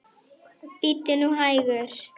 Bíddu nú hægur.